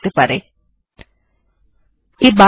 তথ্যের জন্য ইন্টারনেট এ সার্চ অবশ্যই একটি উত্কৃষ্ট উপায়